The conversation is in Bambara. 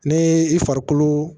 Ne i farikolo